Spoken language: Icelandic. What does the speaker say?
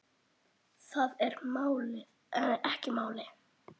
Það er ekki málið.